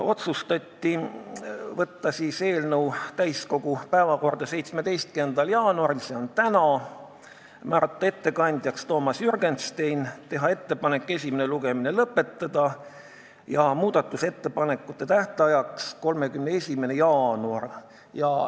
Otsustati saata eelnõu täiskogu päevakorda 17. jaanuariks, s.o tänaseks, määrata ettekandjaks Toomas Jürgenstein, teha ettepanek esimene lugemine lõpetada ja muudatusettepanekute esitamise tähtajaks määrata 31. jaanuar.